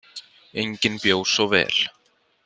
Enginn bjó svo vel.